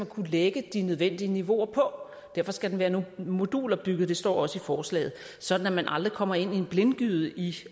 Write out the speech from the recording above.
kunne lægge de nødvendige niveauer på derfor skal der være nogle moduler bygget det står også i forslaget sådan at man aldrig kommer ind i en blindgyde i